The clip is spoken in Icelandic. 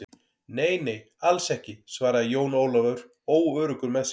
Nei, nei, alls ekki, svaraði Jón Ólafur óöruggur með sig.